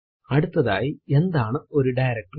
അടുത്തതായി എന്താണ് ഒരു ഡയറക്ടറി